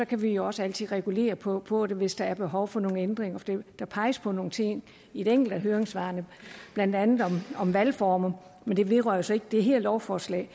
kan vi jo også altid regulere på på det hvis der er behov for nogle ændringer der peges på nogle ting i et enkelt af høringssvarene blandt andet på valgformer det vedrører jo så ikke det her lovforslag